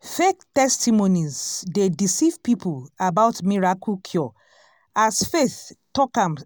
fake testimonies dey deceive people about miracle cure as faith talk am